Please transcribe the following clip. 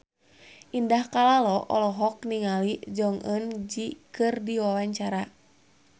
Indah Kalalo olohok ningali Jong Eun Ji keur diwawancara